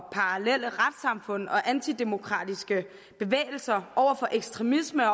parallelle retssamfund og antidemokratiske bevægelser over for ekstremisme